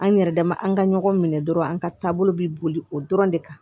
An yɛrɛ dama an ka ɲɔgɔn minɛ dɔrɔn an ka taabolo bɛ boli o dɔrɔn de kan